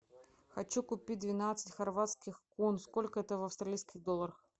хочу купить двенадцать хорватских кун сколько это в австралийских долларах